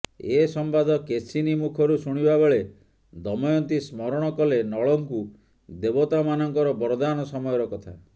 ଏ ସମ୍ୱାଦ କେଶିନୀ ମୁଖରୁ ଶୁଣିବା ବେଳେ ଦମୟନ୍ତୀ ସ୍ମରଣ କଲେ ନଳଙ୍କୁ ଦେବତାମାନଙ୍କର ବରଦାନ ସମୟର କଥା